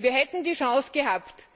Wir hätten die Chance gehabt, das zu verwirklichen,